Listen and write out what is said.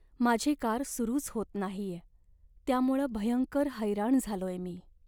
माझी कार सुरूच होत नाहीये त्यामुळं भयंकर हैराण झालोय मी.